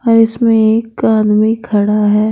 और इसमें एक आदमी खड़ा है।